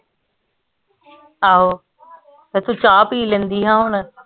ਆਹੋ ਤੇ ਤੂੰ ਚਾਅ ਪੀ ਲੈਂਦੀ ਹਾ ਹੁਣ